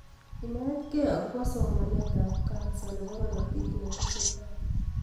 Inetkei agobo somanetab ab kansa nebo korotik netesetai